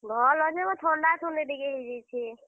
ଭଲ୍ ଅଛେଁ ବୋ, ଥଣ୍ଡା, ଥୁଣ୍ଡି ଟିକେ ହେଇଯାଇଛେ।